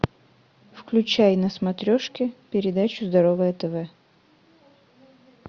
включай на смотрешке передачу здоровое тв